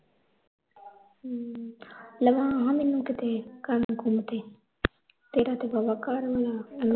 ਹੂੰ ਲਵਾ ਹਾ ਮੈਨੂੰ ਕਿਤੇ ਕੰਮ ਕੁਮ ਤੇ ਤੇਰਾ ਤਾਂ ਵਾਵਾ ਘਰ